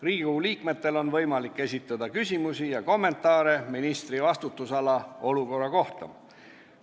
Riigikogu liikmetel on võimalik esitada küsimusi ja kommentaare ministri vastutusala olukorra kohta.